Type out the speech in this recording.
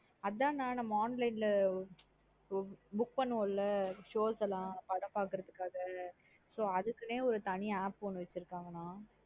அதன் நா நம்ம online லா book பண்ணுவோன்ல show ஸ் லாம் படம் பாக்ரதுக்காக So அதுக்குனே ஒரு தனி app ஒன்னு வச்சிருகங்கான.